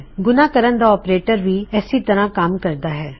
ਗੁਣਾ ਕਰਨ ਦਾ ਆਪਰੇਟਰ ਵੀ ਏਸੀ ਤਰ੍ਹਾ ਕੰਮ ਕਰਦਾ ਹੈ